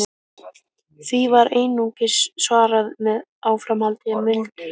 Því var einungis svarað með áframhaldandi muldri.